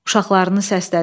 Uşaqlarını səslədi.